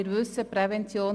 Wir wissen es: